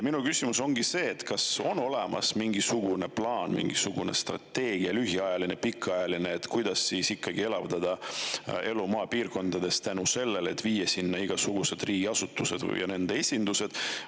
Minu küsimus ongi see, kas on olemas mingisugune plaan, mingisugune strateegia – lühiajaline või pikaajaline –, kuidas ikkagi elavdada elu maapiirkondades selle abil, et viia sinna mingid riigiasutused või nende esindused.